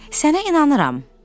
Sənə inanıram.